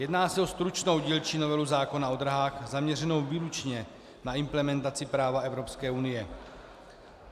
Jedná se o stručnou dílčí novelu zákona o dráhách zaměřenou výlučně na implementaci práva Evropské unie.